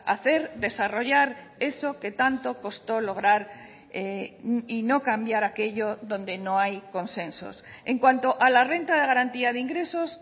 hacer desarrollar eso que tanto costó lograr y no cambiar aquello donde no hay consensos en cuanto a la renta de garantía de ingresos